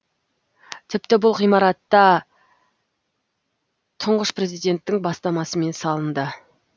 тіпті бұл ғимарат та тұңғыш президенттің бастамасымен салынды